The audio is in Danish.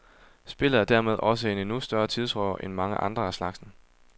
Spillet er dermed også en endnu større tidsrøver end mange andre af slagsen.